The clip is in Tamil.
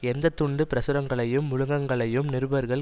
எந்த துண்டு பிரசுரங்களையும் முழுக்கங்களையும் நிருபர்கள்